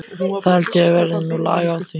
Það held ég verði nú lag á því.